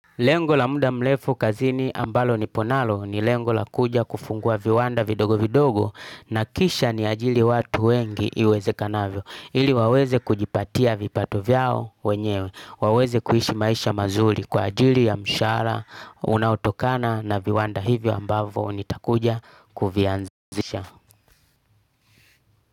Lengo la muda mrefu kazini ambalo nipo nalo ni lengo la kuja kufungua viwanda vidogo vidogo na kisha niajiri watu wengi iwezekanavyo, ili waweze kujipatia vipato vyao wenyewe, waweze kuishi maisha mazuri kwa ajili ya mshahara unaotokana na viwanda hivyo ambavo nitakuja kuvianzisha.